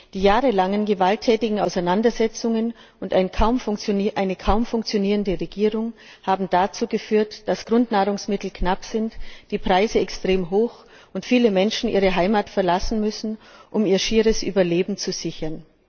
Die jahrelangen gewalttätigen Auseinandersetzungen und eine kaum funktionierende Regierung haben dazu geführt, dass Grundnahrungsmittel knapp und die Preise extrem hoch sind und viele Menschen ihre Heimat verlassen müssen, um ihr schieres Überleben zu sichern.